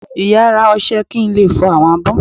Ìyá a rá ọṣẹ kí n le fọ awọn abó.